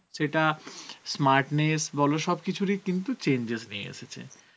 সেটা smartness বলো সব কিছুর ই কিন্তু changes নিয়ে এসেছে